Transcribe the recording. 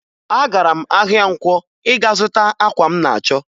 Agara m ahịa nkwọ ịga zụta akwa m na-achọ